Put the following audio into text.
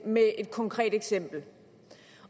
med et konkret eksempel